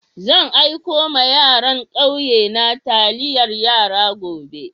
Zan aiko ma yaran kauye na taliyar yara gobe.